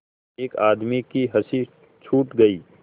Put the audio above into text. एक आदमी की हँसी छूट गई